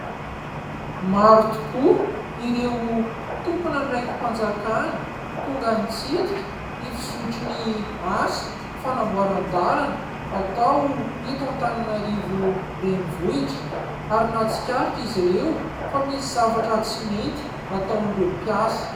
Maro tokoa ireo tomponandraiki-panjakana tonga nitsidika ny fizotry ny asa fanamboaran-dalana atao eto Antananarivo renivohitra ary nahatsikaritra izy ireo fa misy zavatra tsy mety ataon'ireo mpiasa.